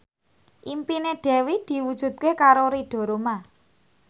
impine Dewi diwujudke karo Ridho Roma